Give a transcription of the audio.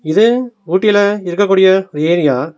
இது ஊட்டில இருக்கக்கூடிய ஒரு ஏரியா .